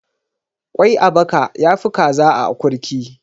Ƙwai a baka ya fi kaza a akurki.